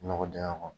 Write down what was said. Nɔgɔ dingɛ kɔnɔ